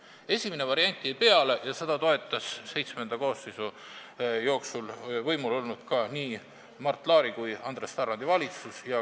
Esimene variant jäi peale ja seda toetasid ka VII koosseisu jooksul võimul olnud Mart Laari ja Andres Tarandi valitsus.